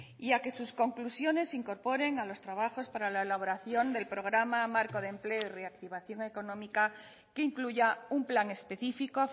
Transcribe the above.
y a que sus conclusiones incorporen a los trabajos para la elaboración del programa marco de empleo y reactivación económica que incluya un plan específico